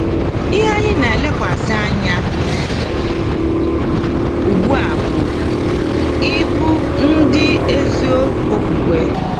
Ihe anyị na-elekwasị anya ugbu a bụ ịbụ ndị ezi okwukwe.